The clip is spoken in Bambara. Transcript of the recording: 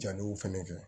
Jaliw fɛnɛ kɛ